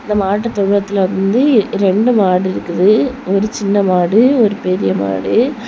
இந்த மாட்டு தொழுவத்துல வந்து ரெண்டு மாடு இருக்குது ஒரு சின்ன மாடு ஒரு பெரிய மாடு.